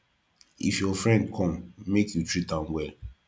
if your friend come make you try treat am well